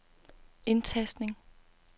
indtastning